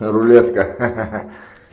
рулетка ха ха